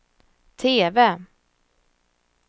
TV